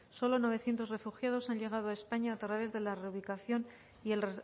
solo novecientos refugiados han llegado a españa a través de la reubicación y el